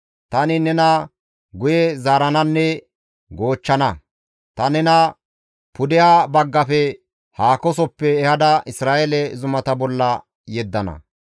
Tani nena guye zaarananne goochchana; ta nena pudeha baggafe haakosoppe ehada Isra7eele zumata bolla yeddana.